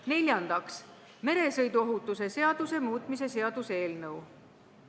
Neljandaks, meresõiduohutuse seaduse muutmise seaduse eelnõu.